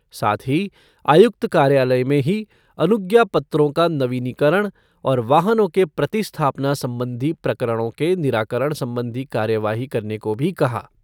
साथ ही आयुक्त कार्यालय में ही अनुज्ञा पत्रों का नवीनीकरण और वाहनों के प्रतिस्थापना संबंधी प्रकरणों के निराकरण संबंधी कार्रवाई करने को भी कहा।